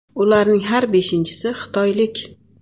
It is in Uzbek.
Ularning har beshinchisi xitoylik.